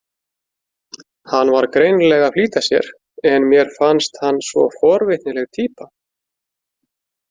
Hann var greinilega að flýta sér en mér fannst hann svo forvitnileg týpa.